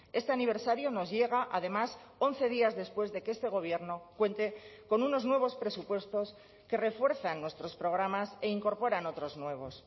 este aniversario nos llega además once días después de que este gobierno cuente con unos nuevos presupuestos que refuerzan nuestros programas e incorporan otros nuevos